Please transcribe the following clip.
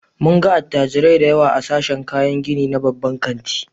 Mun ga attajirai da yawa a sashen kayan gini na babban kanti.